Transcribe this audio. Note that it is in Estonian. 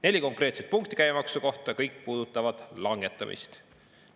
Neli konkreetset punkti käibemaksu kohta, kõik puudutavad selle langetamist.